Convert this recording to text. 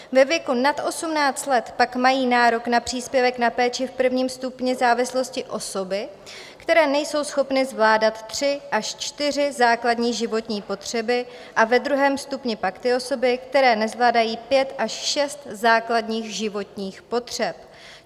Ve věku nad 18 let pak mají nárok na příspěvek na péči v prvním stupni závislosti osoby, které nejsou schopny zvládat tři až čtyři základní životní potřeby, a ve druhém stupni pak ty osoby, které nezvládají pět až šest základních životních potřeb.